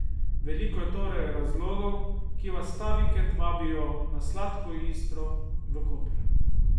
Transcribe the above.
Veliko je torej razlogov, ki vas ta vikend vabijo na Sladko Istro v Koper.